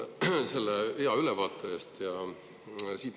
Aitäh selle hea ülevaate eest!